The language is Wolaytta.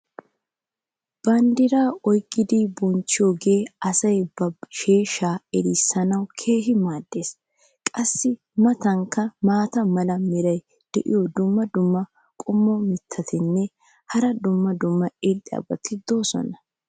bandiraa oyqqidi bonchchiyoogee asay ba sheeshshaa erisanaassi keehi maadees. qassi a matankka maata mala meray diyo dumma dumma qommo mitattinne hara dumma dumma irxxabati de'oosona.